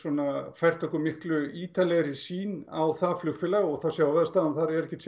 fært okkur ítarlegri sýn á það flugfélag og sjáum að staðan er ekkert